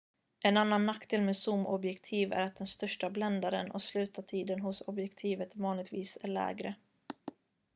en annan nackdel med zoomobjektiv är att den största bländaren och slutartiden hos objektivet vanligtvis är lägre